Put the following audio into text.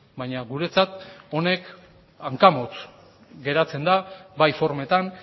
baina guretzat honek hankamotz geratzen da bai formetan